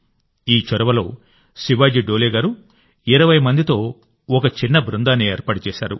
ఈ చొరవలో శివాజీ డోలే గారు 20 మందితో ఒక చిన్న బృందాన్ని ఏర్పాటు చేశారు